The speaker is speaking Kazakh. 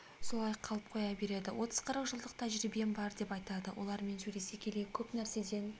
солай қалып қоя береді отыз-қырық жылдық тәжірибем бар деп айтады олармен сөйлесе келе көп нәрседен